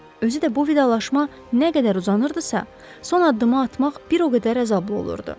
Özü də bu vidalaşma nə qədər uzanırdısa, son addımı atmaq bir o qədər əzablı olurdu.